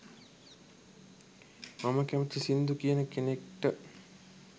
මම කැමැති සිංදු කියන කෙනෙක්ට.